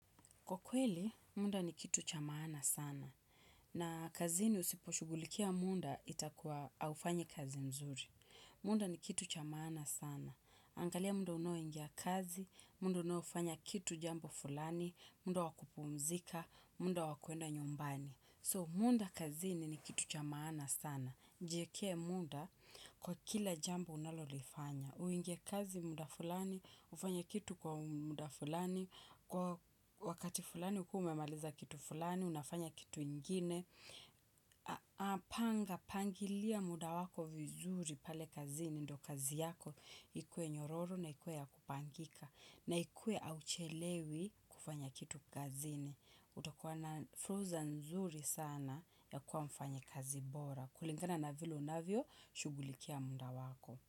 Kwa kweli, mda ni kitu cha maana sana. Na kazini usiposhughulikia munda itakuwa haufanyi kazi mzuri. Munda ni kitu cha maana sana. Angalia mda unaoingia kazi, mda unaofanya kitu jambo fulani, mda wa kupumzika, mda wa kwenda nyumbani. So, munda kazini ni kitu cha maana sana. Jiekee muda kwa kila jambo unalolifanya. Uingie kazi mda fulani, ufanye kitu kwa mda fulani, kwa wakati fulani ukuwe umemaliza kitu fulani, unafanya kitu ingine. Apanga, pangilia muda wako vizuri pale kazini ndo kazi yako. Ikue nyororo na ikue ya kupangika. Na ikue auchelewi kufanya kitu kazini. Utakuwa na furza nzuri sana ya kuwa mfanyikazi bora. Kulingana na vile unavyo shugulikia mda wako.